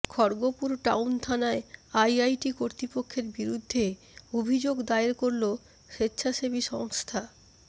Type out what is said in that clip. Kharagpur town থানায় IIT কর্তৃপক্ষের বিরুদ্ধে অভিযোগ দায়ের করল স্বেচ্ছাসেবী সংস্থা